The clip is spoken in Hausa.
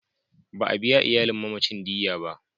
Ba a biya iyalin mamacin diyya ba.